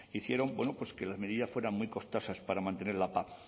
hicieron que las medidas fueran muy costosas para mantener la pac